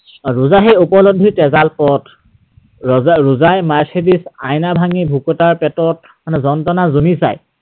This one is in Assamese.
ৰোজা সেই উপলব্ধিৰ তেঁজাল পথ। ৰোজাই mercedes ৰ আইনা ভাঙি ভোকাতুৰৰ পেটত মানে যন্ত্ৰণা জুমি চায়।